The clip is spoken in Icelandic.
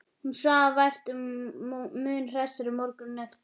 Hún svaf vært, var mun hressari morguninn eftir.